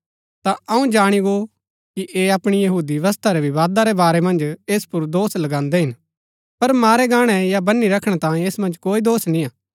ता अऊँ जाणी गो कि ऐह अपणी यहूदी व्यवस्था रै विवादा रै बारै मन्ज ऐस पुर दोष लगान्दै हिन पर मारै गाणै या बनी रखणै तांयें ऐस मन्ज कोई दोष निय्आ